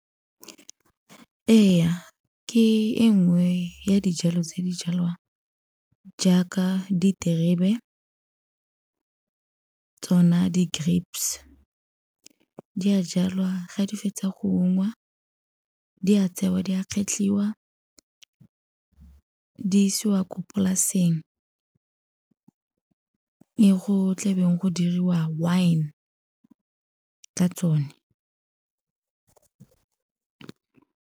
Ee, ke e nngwe ya dijalo tse di jalwang jaaka diterebe tsona di-grapes. Di a jalwa ga di fetsa go ungwa di a tsewa di a kgetlhiwa di isiwa ko polaseng e go tlebeng go diriwa wine-e ka tsone.